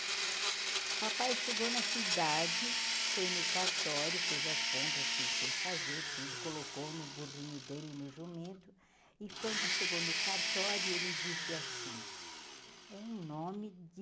papai chegou na cidade, foi no cartório, fez as compras que ele tinha que fazer, tudo, colocou no burrinho dele, no jumento, e quando chegou no cartório, ele disse assim, é um nome de